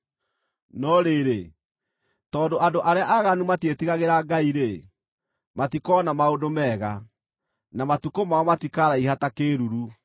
No rĩrĩ, tondũ andũ arĩa aaganu matiĩtigagĩra Ngai-rĩ, matikoona maũndũ mega, na matukũ mao matikaraiha ta kĩĩruru.